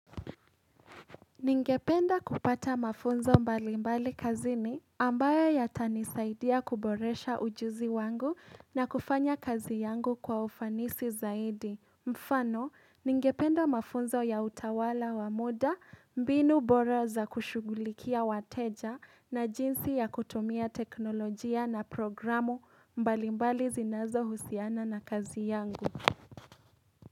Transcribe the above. Ningependa kupata mafunzo mbalimbali kazini ambayo yatanisaidia kuboresha ujuzi wangu na kufanya kazi yangu kwa ufanisi zaidi. Mfano, ningependa mafunzo ya utawala wa muda mbinu bora za kushugulikia wateja na jinsi ya kutumia teknolojia na programu mbalimbali zinazo husiana na kazi yangu.